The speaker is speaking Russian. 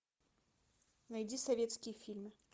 найди советские фильмы